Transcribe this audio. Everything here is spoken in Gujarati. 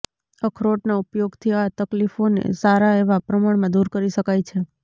અખરોટના ઉપયોગથી આ તકલીફોને સારા એવા પ્રમાણમાં દૂર કરી શકાય છે